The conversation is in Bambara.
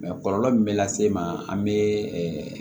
kɔlɔlɔ min bɛ lase ma an bɛ